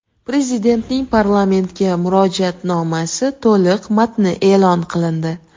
Prezidentning parlamentga murojaatnomasi to‘liq matni e’lon qilindi.